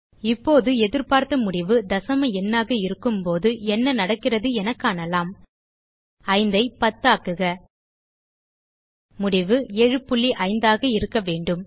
இப்போது எதிர்பார்த்த முடிவு தசம எண்ணாக இருக்கும்போது என நடக்கிறது என காணலாம் 5 ஐ 10 ஆக்குக முடிவு 75ஆக இருக்க வேண்டும்